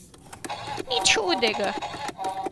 Nič hudega.